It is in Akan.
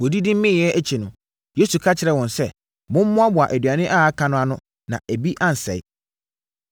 Wɔdidi meeɛ akyi no, Yesu ka kyerɛɛ wɔn sɛ “Mommoaboa aduane a aka no ano na ebi ansɛe.”